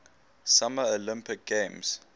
summer olympic games